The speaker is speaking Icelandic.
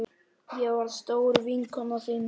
Ég var stór vinkona þín.